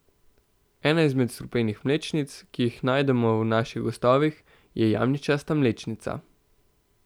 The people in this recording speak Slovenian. Ena izmed strupenih mlečnic, ki jih najdemo v naših gozdovih, je jamičasta mlečnica.